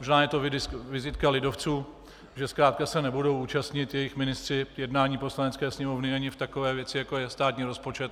Možná je to vizitka lidovců, že zkrátka se nebudou účastnit jejich ministři jednání Poslanecké sněmovny ani v takové věci, jako je státní rozpočet.